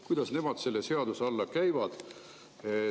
Kuidas nemad selle seaduse alla käivad?